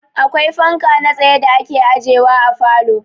Akwai fanka na tsaye da ake ajewa a falo.